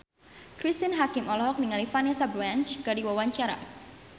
Cristine Hakim olohok ningali Vanessa Branch keur diwawancara